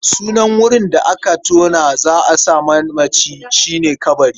Sunan wurin da aka tona za a sa manaci shi ne ƙabari.